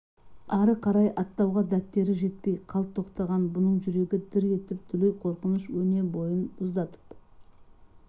ары қарай аттауға дәттері жетпей қалт тоқтаған бұның жүрегі дір етіп дүлей қорқыныш өне бойын мұздатып